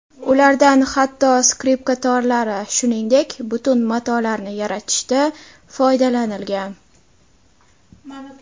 Ulardan hatto skripka torlari, shuningdek, butun matolarni yaratishda foydalanilgan.